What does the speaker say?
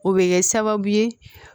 O bɛ kɛ sababu ye